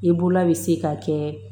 I bolola bɛ se ka kɛ